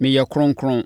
meyɛ kronkron.